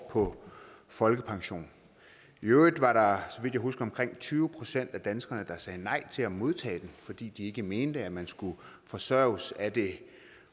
år på folkepension i øvrigt var der vidt jeg husker omkring tyve procent af danskerne der sagde nej til at modtage den fordi de ikke mente at man skulle forsørges af det